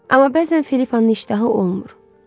Amma bəzən Felipanın iştahı olmur.